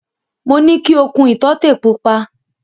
Mo ní ki o kun ìtọ́tè pupa.